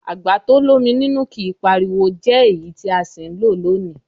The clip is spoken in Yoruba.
Àgbà to l'ómi nínú kìí pariwo jẹ́ èyí tí a sì ń lò lónìí.